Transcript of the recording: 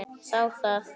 Þá það!